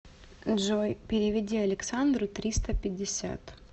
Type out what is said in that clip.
джой переведи александру триста пятьдесят